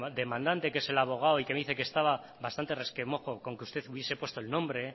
demandante que es el abogado y que me dice que estaba bastante resquemor con que usted hubiese puesto el nombre